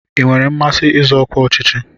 Ị nwere mmasị izọ ọkwa ọchịchị?